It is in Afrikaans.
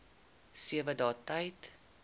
sewe dae tyd